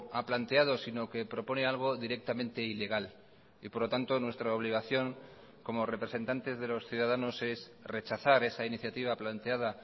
ha planteado sino que propone algo directamente ilegal y por lo tanto nuestra obligación como representantes de los ciudadanos es rechazar esa iniciativa planteada